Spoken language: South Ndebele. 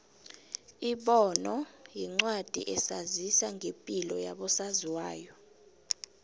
ibono yincwadi esazisa ngepilo yabo saziwayo